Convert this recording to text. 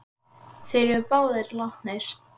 Þeir eru báðir látnir.